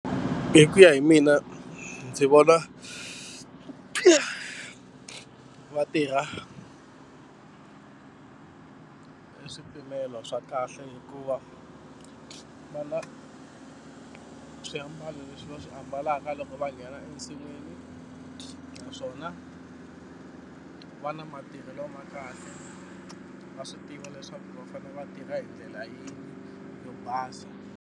Hi ku ya hi mina ndzi vona va tirha hi swipimelo swa kahle hikuva va na swiambalo leswi va swi ambalaka loko va nghena ensinwini naswona va na matirhelo ma kahle va swi tiva leswaku va fanele va tirha hi ndlela yihi yo basa.